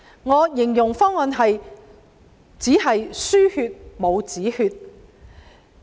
我形容方案為"只是輸血，但沒有止血"。